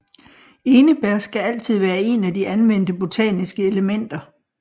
Enebær skal altid være en af de anvendte botaniske elementer